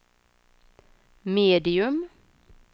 medium